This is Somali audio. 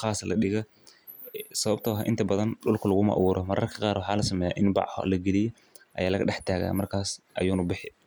sas daraded dulka lamarinayo hal meel oo ladigo malaha sas waye sitha lo yaqano sifa len sas waye.